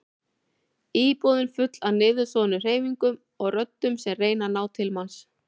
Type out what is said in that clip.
Íbúðin full af niðursoðnum hreyfingum og röddum sem reyna að ná til manns.